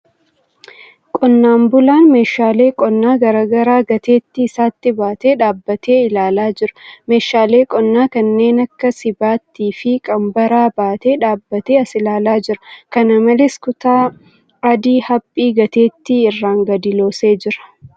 Qonnaan bulaan meeshaalee qonnaa garagaraa gateettii isaattti baatee dhaabbatee ilaalaa jira. Meeshaalee qonnaa kanneen akka sibattii fi qanbaraa baatee dhaabbatee as ilaalaa jira. Kana malees, kutaa adii haphii gateettii irraan gadi loosee jira.